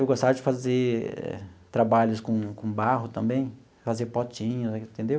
Eu gostava de fazer trabalhos com com barro também, fazer potinhos, entendeu?